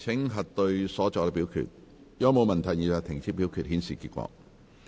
如果沒有問題，現在停止表決，顯示結果。